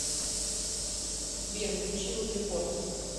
сбер включи узрепорт